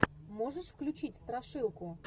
можешь включить страшилку